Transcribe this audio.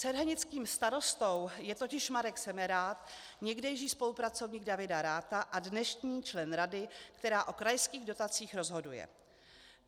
Cerhenickým starostou je totiž Marek Semerád, někdejší spolupracovník Davida Ratha a dnešní člen rady, která o krajských dotacích rozhoduje.